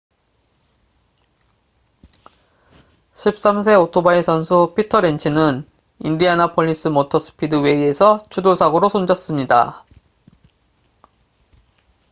13세 오토바이 선수 피터 렌츠는 인디애나폴리스 모터 스피드웨이에서 추돌 사고로 숨졌습니다